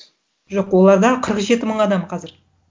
жоқ оларда қырық жеті мың адам қазір